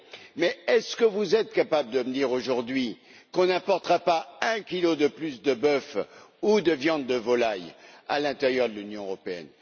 Mais êtes vous capable de me dire aujourd'hui qu'on n'apportera pas un kilo de plus de bœuf ou de viande de volaille à l'intérieur de l'Union européenne?